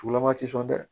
Tugulama ti sɔn dɛ